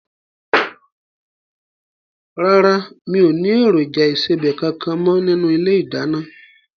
Rárá, mi ò ní èròjà ìsebẹ̀ kankan mo nínú ilé ìdáná.